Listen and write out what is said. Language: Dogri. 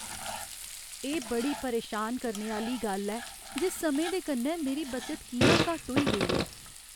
एह् बड़ी परेशान करने आह्‌ली गल्ल ऐ जे समें दे कन्नै मेरी बचत कि'यां घट्ट होई गेई ऐ।